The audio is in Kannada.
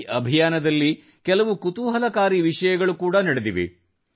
ಈ ಅಭಿಯಾನದಲ್ಲಿ ಕೆಲವು ಕುತೂಹಲಕಾರಿ ವಿಷಯಗಳು ಕೂಡಾ ನಡೆದಿವೆ